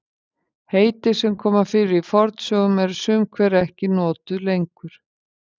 Heiti sem koma fyrir í fornsögum eru sum hver ekki lengur notuð.